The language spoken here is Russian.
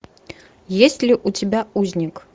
есть ли у тебя узник